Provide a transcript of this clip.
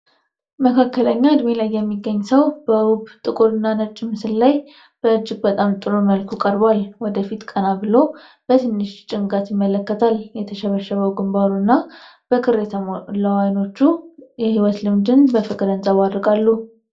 መካከለኛ እድሜ ላይ የሚገኝ ሰው በውብ ጥቁር እና ነጭ ምስል ላይ በእጅግ በጣም ጥሩ መልኩ ቀርቧል። ወደ ፊት ቀና ብሎ በትንሽ ጭንቀት ይመለከታል። የተሸበሸበው ግንባሩ እና በክር የተሞላው አይኖቹ የህይወት ልምድን በፍቅር ያንጸባርቃሉ።